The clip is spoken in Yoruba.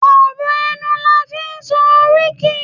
ọrọ ẹnu la fi n sọ oríkì